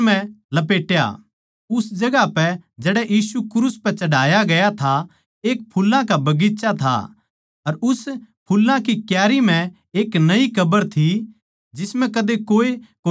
उस जगहां पै जड़ै यीशु क्रूस पै चढ़ाया गया था एक फुल्लां का बगीचा था अर उस फुल्लां की क्यारी म्ह एक नई कब्र थी जिसम्ह कदे कोए कोनी राख्या ग्या था